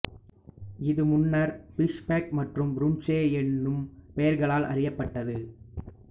இது முன்னர் பிஷ்பெக் மற்றும் ப்ருன்சே எனும் பெயர்களால் அறியப்பட்டது